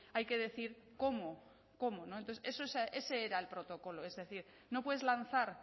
hay que decir cómo cómo entonces ese era el protocolo es decir no puedes lanzar